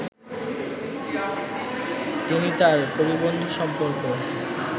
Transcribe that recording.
তিনি তাঁর কবিবন্ধু সম্পর্ক